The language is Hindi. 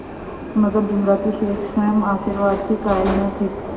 मगर जुमराती शेख स्वयं आशीर्वाद के कायल न थे